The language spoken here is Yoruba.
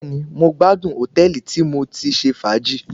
Bẹ́ẹ̀ni, mo gbádùn hòtẹ́ẹ̀lì tí mo ti ṣe fàájì.